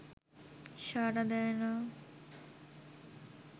সাড়া দেয় না